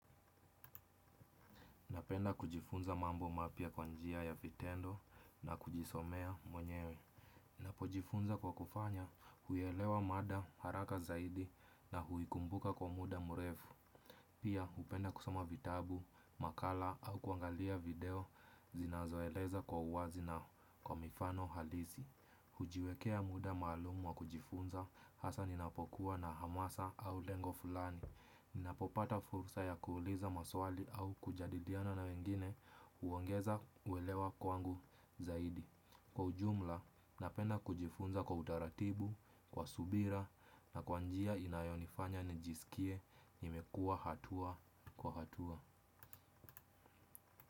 Napenda kujifunza mambo mapya kwa njia ya vitendo na kujisomea mwenyewe. Napojifunza kwa kufanya huielewa mada haraka zaidi na huikumbuka kwa muda murefu. Pia hupenda kusoma vitabu, makala au kuangalia video zinazoeleza kwa uwazi na kwa mifano halisi. Hujiwekea muda malumu wa kujifunza hasa ninapokuwa na hamasa au lengo fulani. Ninapopata fursa ya kuuliza maswali au kujadiliana na wengine huongeza uelewa kwangu zaidi. Kwa ujumla, napenda kujifunza kwa utaratibu, kwa subira na kwa njia inayonifanya nijisikie nimekua hatua kwa hatua.